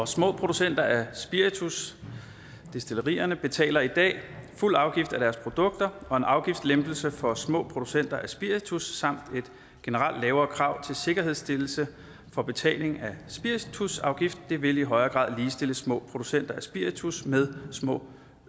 små producenter af spiritus destillerierne betaler i dag fuld afgift af deres produkter og en afgiftslempelse for små producenter af spiritus samt et generelt lavere krav til sikkerhedsstillelse for betaling af spiritusafgift vil vil i højere grad ligestille små producenter af spiritus med små